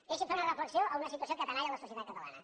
deixi’m fer una reflexió a una situació que tenalla la societat catalana